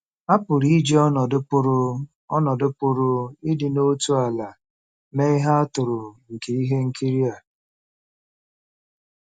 A pụrụ iji ọnọdụ pụrụ ọnọdụ pụrụ ịdị n'otu ala mee ihe atụ nke ihe nkiri a.